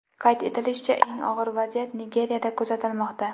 Qayd etilishicha, eng og‘ir vaziyat Nigeriyada kuzatilmoqda.